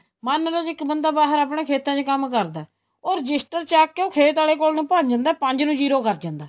ਮੰਨਲੋ ਜ਼ੇ ਇੱਕ ਬੰਦਾ ਬਾਹਰ ਆਪਣੇ ਖੇਤਾਂ ਚ ਕੰਮ ਕਰਦਾ ਏ ਉਹ ਰਜਿਸਟਰ ਚੱਕਕੇ ਉਹ ਖੇਤ ਆਲੇ ਕੋਲ ਭੱਜ ਜਾਂਦਾ ਏ ਪੰਜ ਨੂੰ zero ਕਰ ਜਾਂਦਾ